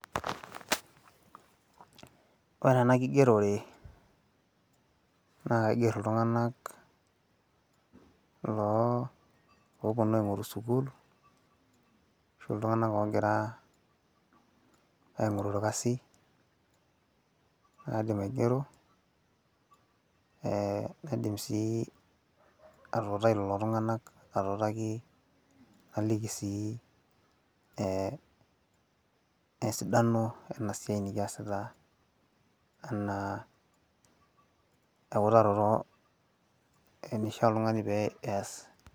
ore ena kigerore naa kaiger iltunganak oopuonu aingoru sukuul. ashu iltunganak oopuonu aing'oru orkasi. naidim aing'ero, naidim sii atuutai lelo tunganak atuutaki, naliki sii esidano ena siai nikiasita anaa eutaroto naliki oltungani pee ees.